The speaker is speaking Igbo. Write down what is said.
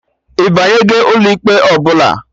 Ịbanyego ụlọ ikpe ọbụla?